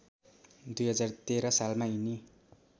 २०१३ सालमा यिनी